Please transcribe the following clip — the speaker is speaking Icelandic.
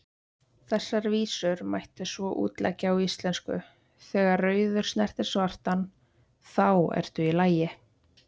Þessar vísur mætti svo útleggja á íslensku: Þegar rauður snertir svartan, þá ertu í lagi,